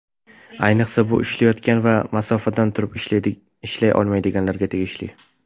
Ayniqsa, bu ishlayotgan va masofadan turib ishlay olmaydiganlarga tegishli.